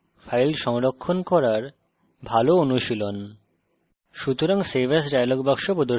এটি বারবার file সংরক্ষণ করার ভাল অনুশীলন